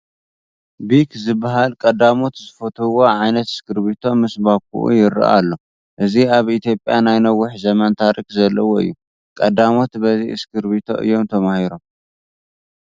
ቢክ ዝበሃል ቀዳሞት ዝፈትዉዎ ዓይነት እስክርቢቶ ምስ ባኾኡ ይርአ ኣሎ፡፡ እዚ ኣብ ኢትዮጵያ ናይ ነዊሕ ዘመን ታሪክ ዘለዎ እዩ፡፡ ቀዳሞት በዚ እስክርቢቶ እዮም ተማሂሮም፡፡